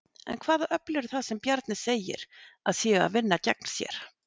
En hvaða öfl eru það sem Bjarni segir að séu að vinna gegn sér?